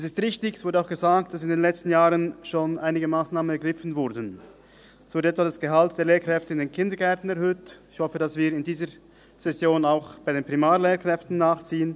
– Es ist richtig – das wurde auch gesagt –, dass in den letzten Jahren schon einige Massnahmen ergriffen wurden: zum Gehalt der Lehrkräfte in den Kindergärten heute – und ich hoffe, dass wir mit dieser Situation auch bei den Primarlehrkräften nachziehen.